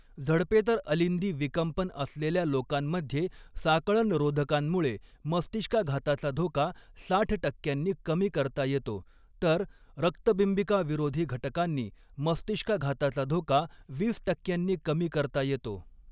झडपेतर अलिंदी विकंपन असलेल्या लोकांमध्ये, साकळणरोधकांमुळे मस्तिष्काघाताचा धोका साठ टक्क्यांनी कमी करता येतो, तर रक्तबिंबिकाविरोधी घटकांनी मस्तिष्काघाताचा धोका वीस टक्क्यांनी कमी करता येतो.